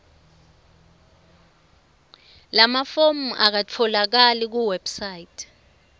lamafomu akatfolakali kuwebsite